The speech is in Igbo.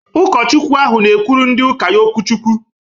Ụkọchukwu ahụ na-ekwuru ndị ụka ya okwu chukwu